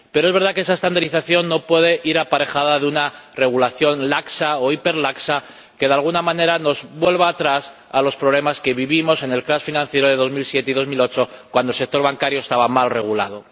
Pero es verdad que esa estandarización no puede llevar aparejada una regulación laxa o hiperlaxa que de alguna manera nos haga retroceder a los problemas que vivimos en el caos financiero de 2007 y 2008 cuando el sector bancario estaba mal regulado.